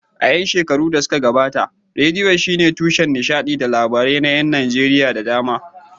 A ƴan shekarun da suka gabata, rediyo shine tushen nishadi da labarai na ƴan Najeriya da dama.